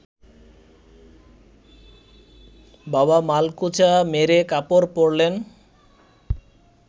বাবা মালকোঁচা মেরে কাপড় পরলেন